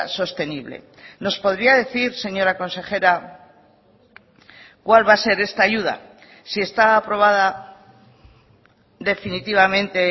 sostenible nos podría decir señora consejera cuál va a ser esta ayuda si está aprobada definitivamente